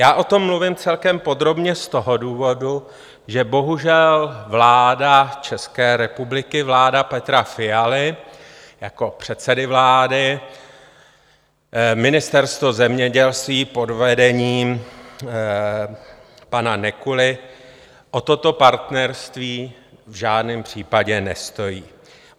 Já o tom mluvím celkem podrobně z toho důvodu, že bohužel vláda České republiky, vláda Petra Fialy jako předsedy vlády, Ministerstvo zemědělství pod vedením pana Nekuly o toto partnerství v žádném případě nestojí.